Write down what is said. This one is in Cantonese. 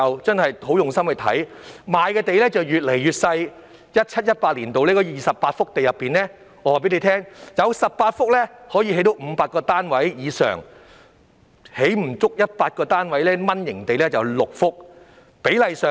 在 2017-2018 年度的28幅土地中，有18幅可供興建500個單位以上，而6幅是"蚊型地"，只可興建不足100個單位。